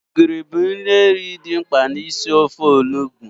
Ogiri bụ ihe nri dị mkpa na isi ofe Onugbu